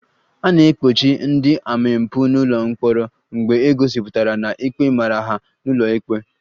A na-ekpochi ndị omempụ n'ụlọ mkpọrọ mgbe e gosipụtara na ikpe mara ha n'ụlọ ikpe